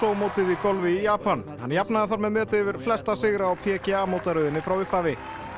mótið í golfi í Japan hann jafnaði þar með metið yfir flesta sigra á PGA mótaröðinni frá upphafi